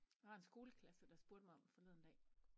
Der var en skoleklasse der spurgte mig om forleden dag